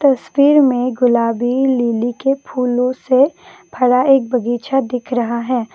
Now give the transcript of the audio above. तस्वीर में गुलाबी लिली के फूलों से भरा एक बगीचा दिख रहा है।